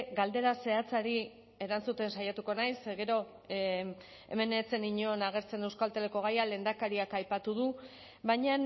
galdera zehatzari erantzuten saiatuko naiz ze gero hemen ez zen inon agertzen euskalteleko gaian lehendakariak aipatu du baina